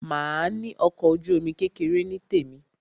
Màá ní ọkọ̀ ojú-omi kékeré tí tèmi.